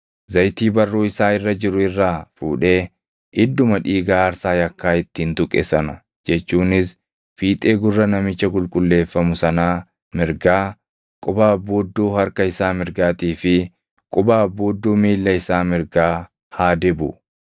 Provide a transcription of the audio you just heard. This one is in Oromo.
Zayitii barruu isaa irra jiru irraa fuudhee idduma dhiiga aarsaa yakkaa ittiin tuqe sana jechuunis fiixee gurra namicha qulqulleeffamu sanaa mirgaa, quba abbuudduu harka isaa mirgaatii fi quba abbuudduu miilla isaa mirgaa haa dibu.